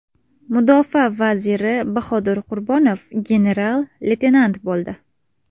Mudofaa vaziri Bahodir Qurbonov general-leytenant bo‘ldi.